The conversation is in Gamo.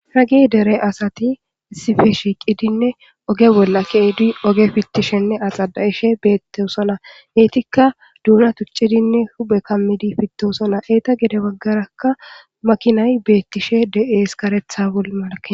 Hagi dere asati sife shiiqidinne oge bolla keedi oge fittishenne axada ishe beettosona etikka doina tuccidinne hube kammidi fittosona eeta gede baggarakka makinay beettishe de7ees lol malake